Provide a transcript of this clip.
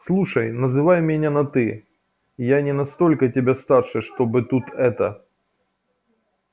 слушай называй меня на ты я не настолько тебя старше чтобы тут это